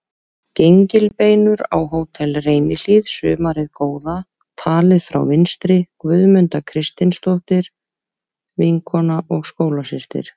Gengilbeinur á Hótel Reynihlíð sumarið góða, talið frá vinstri: Guðmunda Kristinsdóttir, vinkona og skólasystir